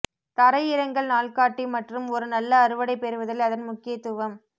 தரையிறங்கள் நாள்காட்டி மற்றும் ஒரு நல்ல அறுவடை பெறுவதில் அதன் முக்கியத்துவம்